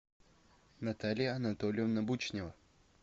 наталья анатольевна бучнева